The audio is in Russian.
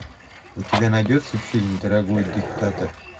у тебя найдется фильм дорогой диктатор